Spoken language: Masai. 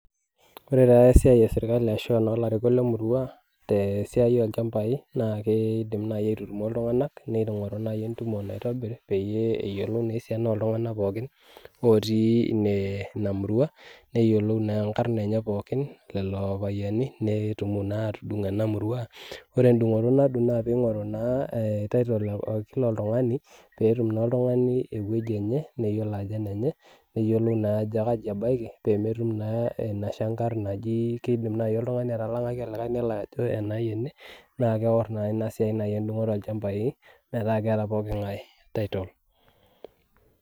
koree taa esiai e serikali arasho ilarikok le murua tesiai olchambai na keidim naii aitutumo iltunganak peeyie eyioluo naa esiana oltunganak pooki naati inamurua neyiolou inkarn elelo payiani netum naa atudung ena murua koree endungoto naadung na peingo'ru naa title ee kila oltungani peetum na kila oltungani ewueji enye peyiolua naa ajo kaii ebaiki peemetum naa inashangarr najii keidim oltungani atalangaki olikae ajoo enaii ene naa keidim naa nai inasiai aatoro iltunganak meeta keata pooki nga'e title.